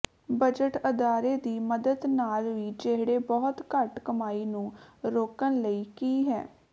budget ਅਦਾਰੇ ਦੀ ਮਦਦ ਨਾਲ ਵੀ ਜਿਹੜੇ ਬਹੁਤ ਘੱਟ ਕਮਾਈ ਨੂੰ ਰੋਕਣ ਲਈ ਕੀ ਹੈ